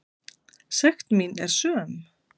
Sekt mín er söm.